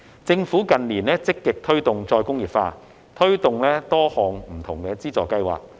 政府近年積極推動再工業化，推出多項不同的資助計劃。